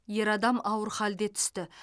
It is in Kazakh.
ер адам ауыр халде түсті